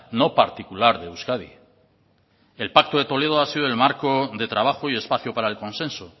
no particular de euskadi el pacto de toledo ha sido el marco de trabajo y espacio para el consenso